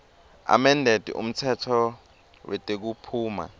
amended umtsetfo wetekuphuma